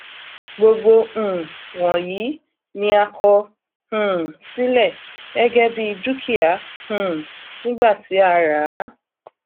gbogbo um wọnyí ni a kọ um sílẹ gẹgẹ bí dúkìá um nígbà tí a ràá